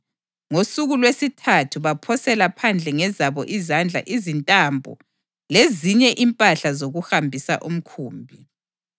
Ngosuku lwesithathu baphosela phandle ngezabo izandla izintambo lezinye impahla zokuhambisa umkhumbi.